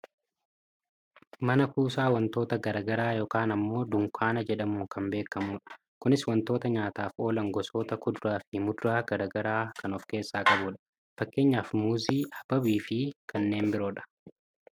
Mana kuusaa wantoota gara garaa yookaan ammoo dunkanaa jedhamuun kan beekkamudha. Kunis wantoota nyaataaf oolan gosoota kuduraa fi muduraa gara garaa kan of keessaa qabudha. Fakkeenyaaf muuzii, habaabii fi kanneen biroodha.